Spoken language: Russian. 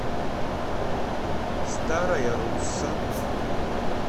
старая русса